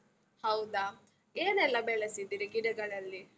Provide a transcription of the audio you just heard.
ಹೌದ? ಏನೆಲ್ಲ ಬೆಳೆಸಿದ್ದೀರಿ ಗಿಡಗಳಲ್ಲಿ?